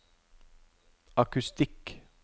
akustikk